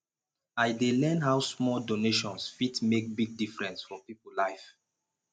i dey learn how small donations fit make big difference for people life